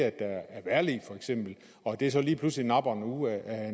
at der er vejrlig og at det så lige pludselig napper en uge af